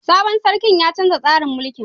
Sabon sarkin ya canza tsarin mulki.